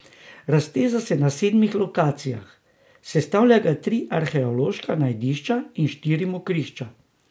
Razteza se na sedmih lokacijah, sestavljajo ga tri arheološka najdišča in štiri mokrišča.